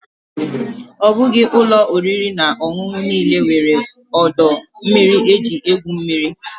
Ọ bụghị ụlọ oriri na ọṅụṅụ niile nwere ọdọ mmiri eji egwu mmiri.